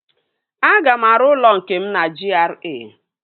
Aga m arụ ụlọ nke m na GRA